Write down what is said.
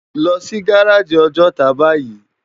Lò si gáráji Òjòtá báyi